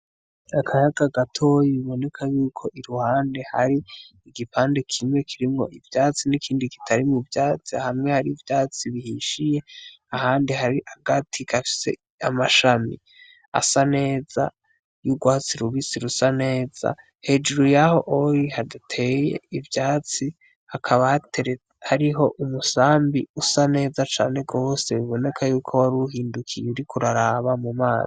Akayaga gatoyi biboneka yuko iruhande hari igipande kimwe kirimwo ivyatsi n'ikindi kitari mu vyatsi hamwe hari ivyatsi bihishiye ahandi hari agati gafise amashami asa neza y'urwatsi rubisi rusa neza hejuru yaho oli hadateye ivyai tsi akabatere ariho umusambi usa neza cane rose biboneka yuko wariuhindukiye uriko uraraba mu mana.